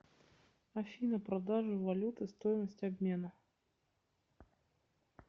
афина продажа валюты стоимость обмена